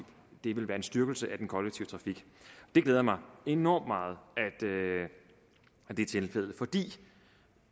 vil være en styrkelse af den kollektive trafik det glæder mig enormt meget at det er tilfældet fordi